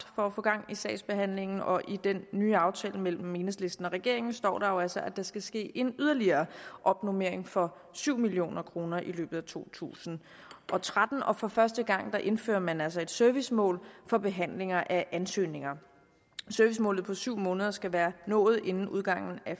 for at få gang i sagsbehandlingen og i den nye aftale mellem enhedslisten og regeringen står der jo altså at der skal ske en yderligere opnormering for syv million kroner i løbet af to tusind og tretten og for første gang indfører man altså et servicemål for behandlinger af ansøgninger servicemålet på syv måneder skal være nået inden udgangen af